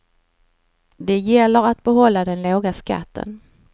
Det gäller att behålla den låga skatten.